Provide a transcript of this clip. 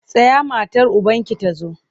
Tsaya matar ubanki ta zo!